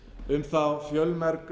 um þá fjölmörgu